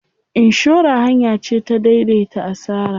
Inshora hanya ce ta dai dai ta asara.